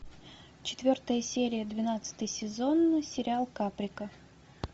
четвертая серия двенадцатый сезон сериал каприка